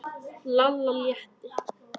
Lalla létti.